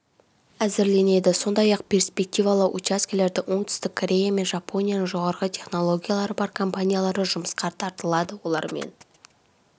әзірленеді сондай-ақ перспективалы учаскелерде оңтүстік корея мен жапонияның жоғары технологиялары бар компаниялары жұмысқа тартылады олармен